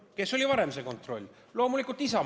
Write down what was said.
Kes varem seda kontrolli valitsuses tegi?